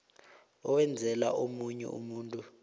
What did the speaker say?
owenzela omunye umuntu